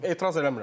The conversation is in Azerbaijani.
Etiraz eləmirəm.